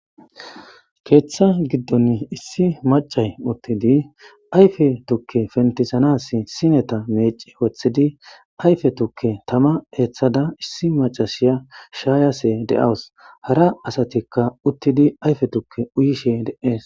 Keeththa giddon issi macay uttidi ayfe tukke fentisanas sineta meci woththidi ayfe tukke tama eeththada issi macashiya shaayashe de'awus hara asatikka uttidi ayfe tukke uyishe de'etees.